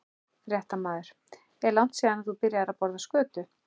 Fréttamaður: Er langt síðan að þú byrjaðir að borða skötu?